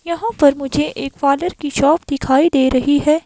यहाँ पर मुझे एक फादर की शॉप दिखाई दे रही है।